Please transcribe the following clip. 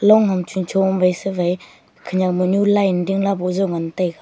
long ham chuncho ma wai sewai khenyak manyu line dingla bozo ngan taiga.